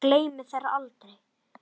Gleymi þér aldrei.